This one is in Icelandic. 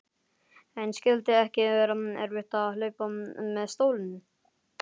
En skyldi ekki vera erfitt að hlaupa með stólinn?